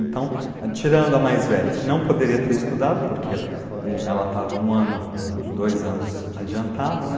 Então, tirando a mais velha, que não poderia ter estudado, porque ela estava um ano, uns dois anos adiantada, né?